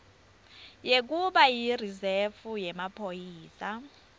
sekuba yirizefu yemaphoyisa